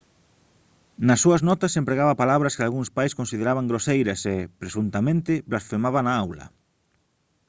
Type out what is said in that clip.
nas súas notas empregaba palabras que algúns pais consideraban groseiras e presuntamente blasfemaba na aula